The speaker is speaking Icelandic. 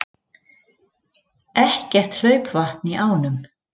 Ekkert hlaupvatn í ánum